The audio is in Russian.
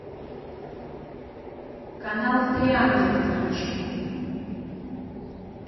канал три ангела включи